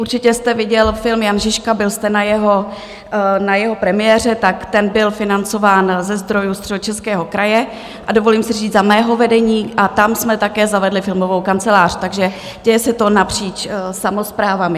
Určitě jste viděl film Jan Žižka, byl jste na jeho premiéře, tak ten byl financován ze zdrojů Středočeského kraje, a dovolím si říct za mého vedení, a tam jsme také zavedli filmovou kancelář, takže děje se to napříč samosprávami.